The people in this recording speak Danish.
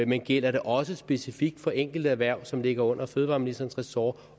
men gælder det også specifikt for enkelterhverv som ligger under fødevareministerens ressort